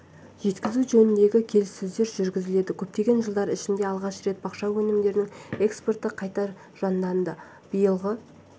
жеткізу жөнінде келіссөздер жүргізілді көптеген жылдар ішінде алғаш рет бақша өнімдерінің экспорты қайта жанданды биылғы